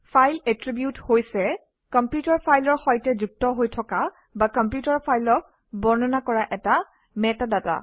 file attribute হৈছে computer ফাইলৰ সৈতে যুক্ত হৈ থকা বা কম্পিউটাৰ ফাইলক বৰ্ণনা কৰা মেটাডাটা